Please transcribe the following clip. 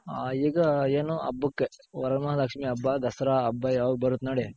ಹಾ ಈಗ ಏನು ಹಬ್ಬಕ್ಕೆ ವರಮಹಾಲಕ್ಷ್ಮಿ ಹಬ್ಬ, ದಸರಾ ಹಬ್ಬ ಯಾವಾಗ್ ಬರುತ್ ನೋಡಿ.